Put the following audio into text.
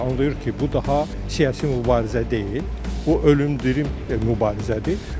Anlayır ki, bu daha siyasi mübarizə deyil, bu ölümdürüm mübarizədir.